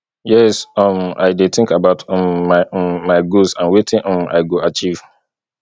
yes um i dey think about um my um my goals and wetin um i go achieve